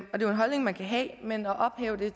holdning man kan have men at ophæve det